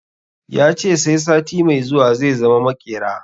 Ya ce sai sati mai zuwa zai zama maƙera